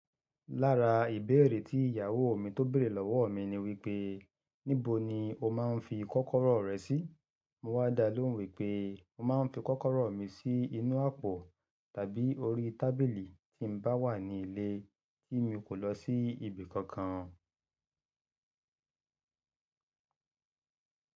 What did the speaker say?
Lára ìbéèrè tí ìyàwó mi tó bèrè lọ́wọ́ mi ni wípé, "níbo ni o máa ń fi kọ́kọ́rọ́ rẹ sí?" Mo wá dalóhùn wípé, "mo máa ń fi kọ́kọ́rọ́ mi sí inú àpò tàbí orí tábìlì tí ń bá wà ní ilé tí mi kò lọ sí ibi kankan."